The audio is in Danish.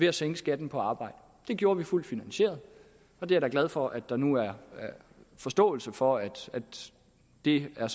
at sænke skatten på arbejde det gjorde vi fuldt finansieret jeg er glad for at der nu er forståelse for at det er